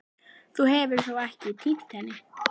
Þú hefur þó ekki. týnt henni?